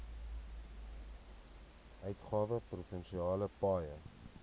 uitgawe provinsiale paaie